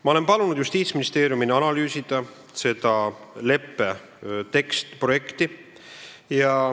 Ma olen palunud Justiitsministeeriumil analüüsida leppe projekti.